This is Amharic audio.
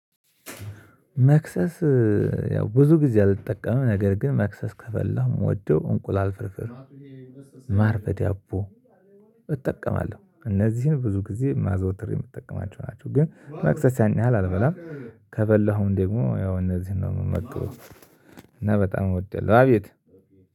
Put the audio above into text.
መክሰስ ያው ብዙ ጊዜ አልጠቀመም ነገር ግን መክሰስ ከፈበላሁ ምወደው እንቁላል ፍርፍር ነው። ማር በዳቦ እጠቀማለሁ እነዚህን ብዙ ጊዜ ማዝወትሬ የምጠቀማቸው ናቸው። ግን መክሰስ ያን ያህል አልበላም። ከበላሁም ደግሞ ያው እነዚህን ነው የምመግበው። እና በጣም ወዳለው አቤት